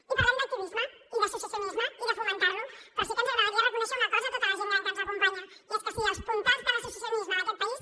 i parlem d’activisme i d’associacionisme i de fomentar los però sí que ens agradaria reconèixer una cosa a tota la gent gran que ens acompanya i és que sí els puntals de l’associacionisme d’aquest país